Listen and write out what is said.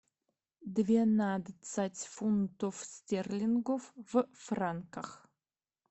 двенадцать фунтов стерлингов в франках